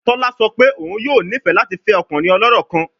Tola sọ pe oun yoo nifẹ lati fẹ ọkunrin ọlọrọ kan